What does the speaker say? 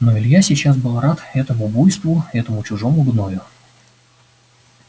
но илья сейчас был рад этому буйству этому чужому гною